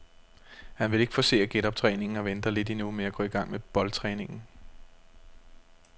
Han vil ikke forcere genoptræningen og venter lidt endnu med at gå i gang med boldtræningen.